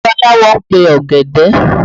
Babaláwo ń pe ògèdè